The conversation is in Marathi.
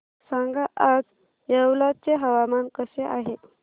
सांगा आज येवला चे हवामान कसे आहे